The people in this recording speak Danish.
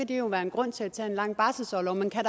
det jo være en grund til at tage en lang barselsorlov men kan